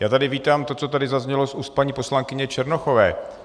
Já tady vítám to, co tady zaznělo z úst paní poslankyně Černochové.